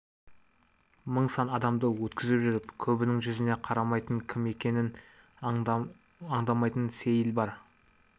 мың сан адамды өткізіп жүріп көбінің жүзіне қарамайтын кім екенін аңдамайтын сейіл бар